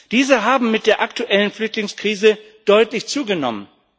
Diese haben mit der aktuellen Flüchtlingskrise deutlich zugenommen.